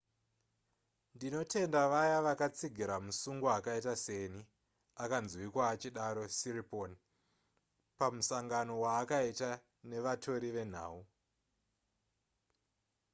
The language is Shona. ndinotenda vaya vakatsigira musungwa akaita seni akanzwika achidaro siriporn pamusangano waakaita nevatori venhau